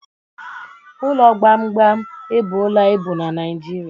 Ụlọ gbamgbam ebuola ibu na Naịjirịa